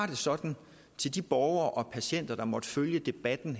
det sådan til de borgere og patienter der måtte følge debatten